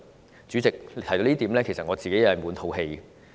代理主席，提到這點，我自己其實滿肚氣！